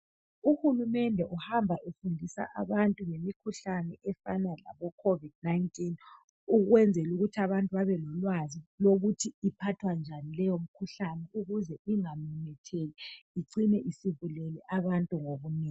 Uhulumende uhamba efundisa abantu ngemikhuhlane efana laboCovid 19 ukwenzelukuthi abantu babelolwazi lokuthi iphathwa njani leyi mkhuhlane ukuze ingamemetheki icine isibulele abantu ngobunengi.